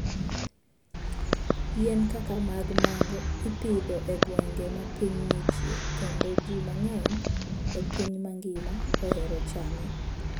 Yien kaka mag mango ipidho e gwenge ma piny ng'ichie kendo ji mang'eny e piny mangima ohero chame.